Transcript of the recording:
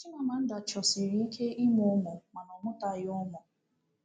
Chimamanda chọsịrị ike ịmụ ụmụ, mana ọ mụtaghị ụmụ.